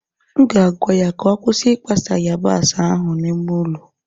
m ga-agwa ya ka ọ kwụsị ikpa sa yabasi ahụ n'ime ụlọ